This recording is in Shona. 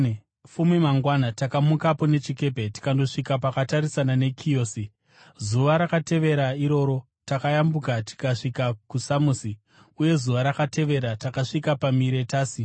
Fume mangwana takamukapo nechikepe tikandosvika pakatarisana neKiyosi. Zuva rakatevera iroro takayambuka tikasvika kuSamosi, uye zuva rakatevera takasvika paMiretasi.